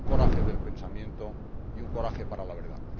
un coraje del pensamiento y un coraje para la verdad.